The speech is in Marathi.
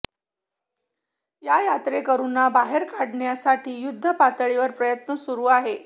या यात्रेकरुंना बाहेर काढण्यासाठी युद्ध पातळीवर प्रयत्न सुरु आहे